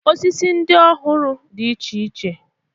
Osisi ndị ọ hụrụ dị iche iche.